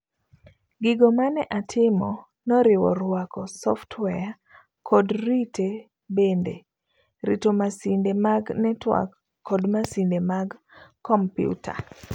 Gigo mane atimo noriwo ruako software, kod rite bende, rito masinde mag network kod masinde mag kompiuta.